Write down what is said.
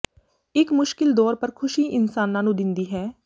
ਇੱਕ ਮੁਸ਼ਕਿਲ ਦੌਰ ਪਰ ਖੁਸ਼ੀ ਇਨਸਾਨਾਂ ਨੂੰ ਦਿੰਦੀ ਹੈ